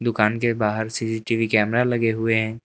दुकान के बाहर सी_सी_टी_वी कैमरा लगे हुए हैं।